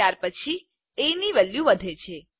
ત્યાર પછી એ ની વેલ્યુ વધે છે